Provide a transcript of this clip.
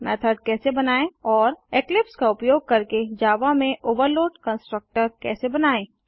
method कैसे बनाएँ और इक्लिप्स का उपयोग करके जावा में ओवरलोड कंस्ट्रक्टर कैसे बनाएँ